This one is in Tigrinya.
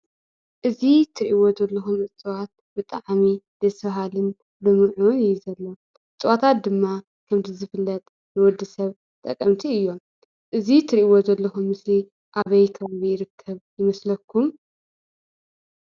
እዚ ትርእይዎ ዘለኩም እፅዋትብጣዓሚ ደስ ባሃሊ ልሙዑን እዩ ዘሎ። እፅዋታት ድማ ከምቲ ዝፍለጥ ንወዱሰብ ጠቐምቲ እዮም። እዚ ትርእዎ ዘለኩም ምስሊ ኣበይ ቦታ ይርከብ ይመስለኩም?